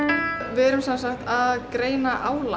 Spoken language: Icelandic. við erum sem sagt að greina álag